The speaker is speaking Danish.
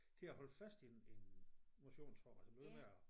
Til at holde fast i en i en motionsform altså noget med at